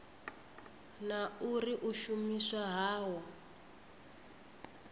na uri u shumiswa hawo